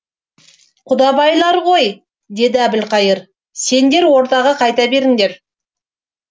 құдабайлар ғой деді әбілқайыр сендер ордаға қайта беріңдер